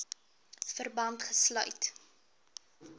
verband gesluit